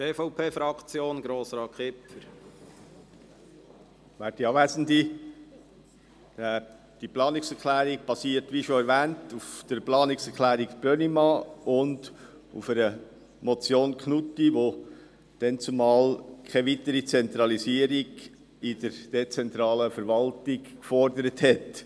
Die Planungserklärung basiert, wie bereits erwähnt, auf der Planungserklärung Brönnimann und auf einer Motion Knutti , die keine weitere Zentralisierung der dezentralen Verwaltung forderte.